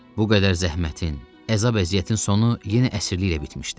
Bu qədər zəhmətin, əzab-əziyyətin sonu yenə əsirliklə bitmişdi.